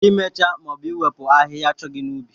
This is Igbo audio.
Imecha maọbu iwepu ahịhịa achọghị n'ubi